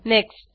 next